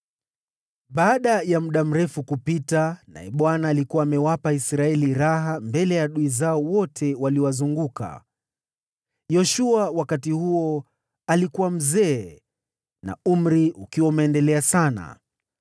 Baada ya muda mrefu kupita, naye Bwana akawa amewapa Israeli pumziko mbele ya adui zao wote waliowazunguka, Yoshua, wakati huo akiwa mzee na umri ukiwa umeendelea sana,